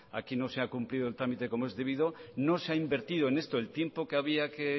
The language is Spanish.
aquí no se ha cumplido el trámite como es debido no se ha invertido en esto el tiempo que había que